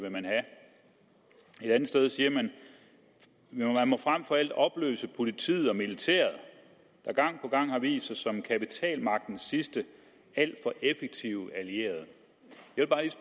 et andet sted siger man man må frem for alt opløse politiet og militæret der gang på gang har vist sig som kapitalmagtens sidste alt for effektive allierede